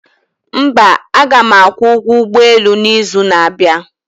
mba, aga m akwụ ụgwọ ụgbọ elu n'izu na-abịa